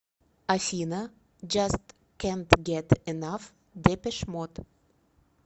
афина джаст кэнт гет энаф депеш мод